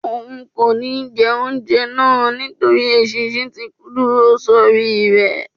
òun kó ní jé oúnjẹ náa nítorí eṣinṣin tí dúró sórí e